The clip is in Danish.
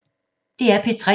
DR P3